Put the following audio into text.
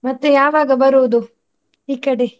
ಮತ್ತೆ ಯಾವಾಗ ಬರುವುದು, ಈ ಕಡೆ?